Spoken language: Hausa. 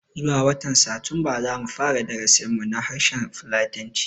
Zuwa watan Satumba zamu fara darasin mu na harshen fulatanci